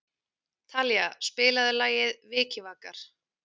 Talía, spilaðu lagið „Vikivakar“.